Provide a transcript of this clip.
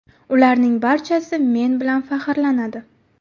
Ularning barchasi men bilan faxrlanadi.